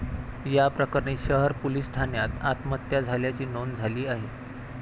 या प्रकरणी शहर पोलिस ठाण्यात आत्महत्या झाल्याची नोंद झाली आहे.